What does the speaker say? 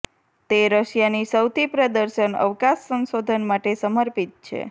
તે રશિયાની સૌથી પ્રદર્શન અવકાશ સંશોધન માટે સમર્પિત છે